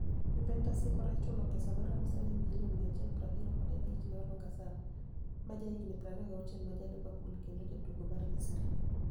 Juvenitus hikorechulo pesa maromo silinig ' milioni 175 ni e Oluniga Saam, ma jahiginii 26 ma ja Liverpool kenido jatugo mar Misri.